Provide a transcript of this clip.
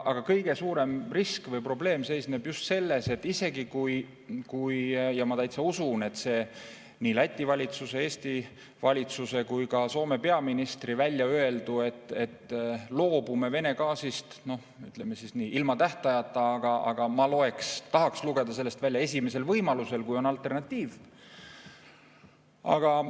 Aga kõige suurem risk või probleem seisneb just selles, et ma isegi täitsa usun seda nii Läti valitsuse, Eesti valitsuse kui ka Soome peaministri väljaöeldut, et me loobume Vene gaasist, no, ütleme siis nii, ilma tähtajata, aga ma tahaks lugeda sellest esimesel võimalusel, kui on alternatiiv.